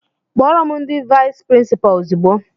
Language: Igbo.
Kpọrọ m ndị vais prinsipa ozigbo!!!